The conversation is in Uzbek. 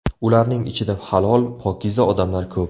Ularning ichida halol, pokiza odamlar ko‘p.